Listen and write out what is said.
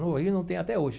No Rio não tenho até hoje.